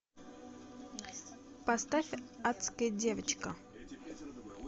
поставь адская девочка